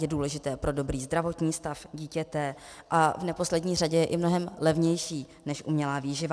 Je důležité pro dobrý zdravotní stav dítěte a v neposlední řadě je i mnohem levnější než umělá výživa.